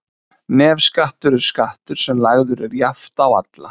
nefskattur er skattur sem lagður er jafnt á alla